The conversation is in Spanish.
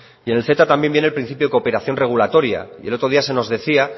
y en el ceta también viene el principio de cooperación regulatoria y el otro día se nos decía